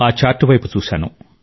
ఆ చార్ట్ వైపు చూశాన